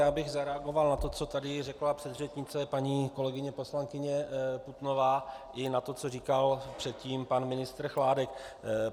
Já bych zareagoval na to, co tady řekla předřečnice paní kolegyně poslankyně Putnová, i na to, co říkal předtím pan ministr Chládek.